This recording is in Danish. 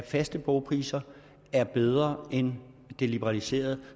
faste bogpriser er bedre end et liberaliseret